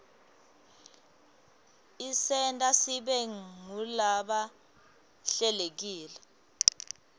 isenta sibe ngulaba hlelekile